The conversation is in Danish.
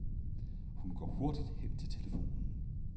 Hun går hurtigt hen til telefonen.